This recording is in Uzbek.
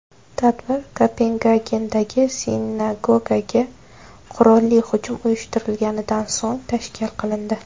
Tadbir Kopengagendagi sinagogaga qurolli hujum uyushtirilganidan so‘ng tashkil qilindi.